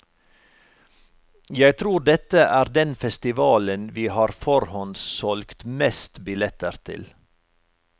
Jeg tror dette er den festivalen vi har forhåndssolgt mest billetter til.